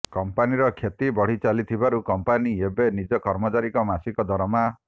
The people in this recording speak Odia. କମ୍ପାନିର କ୍ଷତି ବଢିଚାଲିଥିବାରୁ କମ୍ପାନି ଏବେ ନିଜ କର୍ମଚାରୀଙ୍କ ମାସିକ ଦରମା